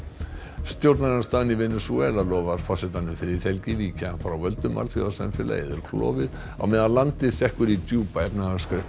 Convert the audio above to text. stjórnarandstaðan í Venesúela lofar forsetanum friðhelgi víki hann frá völdum alþjóðasamfélagið er klofið á meðan landið sekkur í djúpa efnahagskreppu